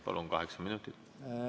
Palun, kaheksa minutit!